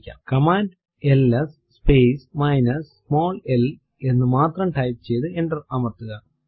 command LS space minus small l L എന്ന് മാത്രം type ചെയ്തു എന്റർ അമർത്തുക